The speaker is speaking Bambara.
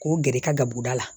K'o gɛrɛ i ka gaburu da la